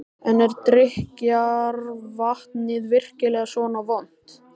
En er drykkjarvatnið virkilega svona vont?